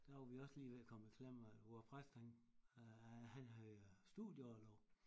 Der var vi også lige ved at komme i klemme at hvor præsten han øh han havde studieorlov